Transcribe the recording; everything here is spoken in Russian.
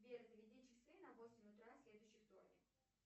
сбер заведи часы на восемь утра следующий вторник